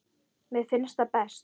Mér finnst það best.